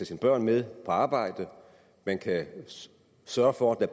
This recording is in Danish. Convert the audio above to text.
sine børn med på arbejde man kan sørge for at